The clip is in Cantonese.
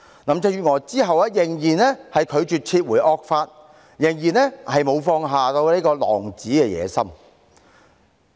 林鄭月娥之後仍然拒絕撤回惡法，仍然沒有放下狼子野心。